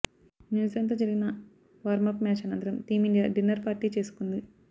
న్యూజిలాండ్తో జరిగిన warm up match అనంతరం టీమిండియా డిన్నర్ పార్టీ చేసుకుంది